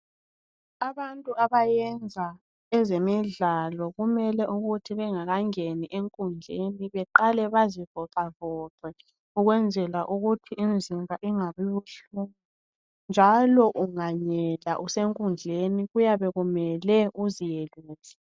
Abantu abayenza ezemidlalo kumele ukuthi bengakangeni enkundleni beqale bazivoxavoxe ukwenzela ukuthi imizimba ingabi buhlungu. Njalo unganyela usenkundleni kuyabe kumele uziyelule.